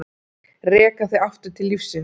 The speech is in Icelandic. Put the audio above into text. Reka þig aftur til lífsins.